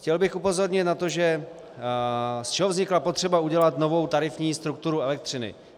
Chtěl bych upozornit na to, z čeho vznikla potřeba udělat novou tarifní strukturu elektřiny.